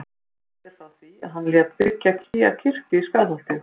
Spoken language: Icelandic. Sagt er frá því að hann lét byggja nýja kirkju í Skálholti.